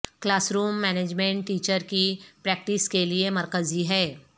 class room management teacher کی practice کے لئے مرکزی ہے